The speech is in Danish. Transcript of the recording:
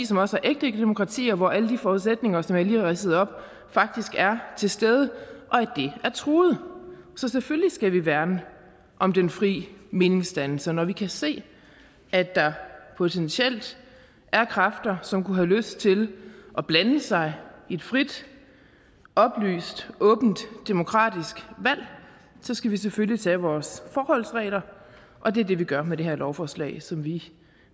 som også er ægte demokratier og hvor alle de forudsætninger som jeg lige har ridset op faktisk er til stede er truet så selvfølgelig skal vi værne om den fri meningsdannelse når vi kan se at der potentielt er kræfter som kunne have lyst til at blande sig i et frit oplyst åbent og demokratisk valg skal vi selvfølgelig tage vores forholdsregler og det er det vi gør med det her lovforslag som vi